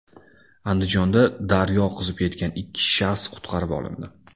Andijonda daryo oqizib ketgan ikki shaxs qutqarib olindi.